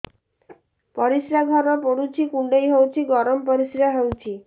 ପରିସ୍ରା ଘର ପୁଡୁଚି କୁଣ୍ଡେଇ ହଉଚି ଗରମ ପରିସ୍ରା ହଉଚି